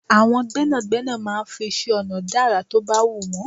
Àwọn gbẹ́nàgbẹ́nà máa ń fi iṣẹ́-ọ̀nà dá àrà to bá wù wọ́n.